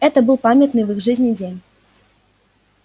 это был памятный в их жизни день